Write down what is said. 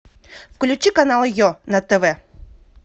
включи канал е на тв